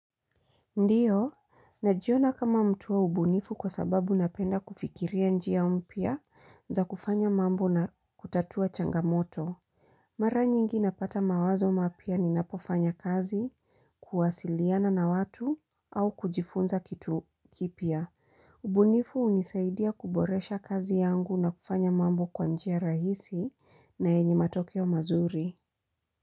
Ndiyo, najiona kama mtu wa ubunifu kwa sababu napenda kufikiria njia mpya za kufanya mambo na kutatua changamoto. Mara nyingi napata mawazo mapya ninapofanya kazi kuwasiliana na watu au kujifunza kitu kipya. Ubunifu hunisaidia kuboresha kazi yangu na kufanya mambo kwa njia rahisi na yenye matokeo, mazuri.